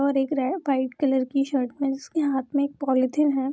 और एक रे वाइट कलर की शर्ट मेन्स के हाथ में एक पॉलिथीन है।